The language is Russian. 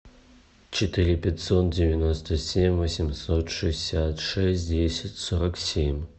четыре пятьсот девяносто семь восемьсот шестьдесят шесть десять сорок семь